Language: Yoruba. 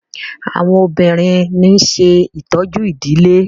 àwọn obìrin ní ṣe ìtọjú idilé.